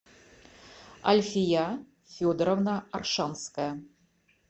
альфия федоровна оршанская